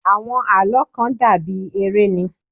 Àwọn àlọ́́ kàn dà bí eré ni.